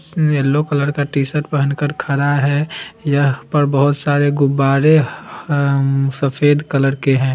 Yellow colour का t-shirt पहन कर खड़ा है यहाँ पर बहोत सारे गुब्बारे ह-ह अम सफेद कलर के है।